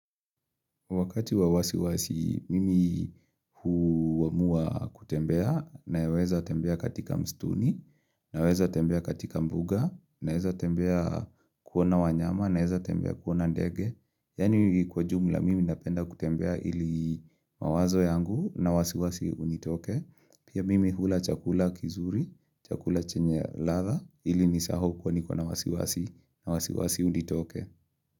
Wakati wa wasiwasi, mimi huamua kutembea, naweza tembea katika msituni, naweza tembea katika mbuga, naeza tembea kuona wanyama, naeza tembea kuona ndege. Yani kwa jumla, mimi napenda kutembea ili mawazo yangu na wasiwasi unitoke. Pia mimi hula chakula kizuri, chakula chenye ladha, ili nisahau kuwa niko na wasiwasi, na wasiwasi unitoke.